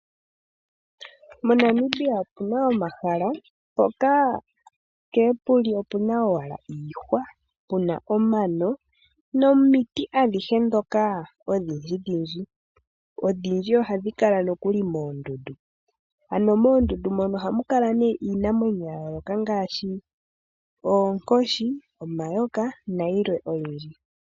MoNamibia opuna omahala ngoka nkee puli opuna owala iihwa, puna omano nomiti adhihe dhoka odhindji dhindji. Odhindji ohadhi kala nokuli moondundu, ano moondundu mono ohamu kala nee iinamwenyo ya yooloka ngaashi oonkoshi, omayoka nayilwe oyindji.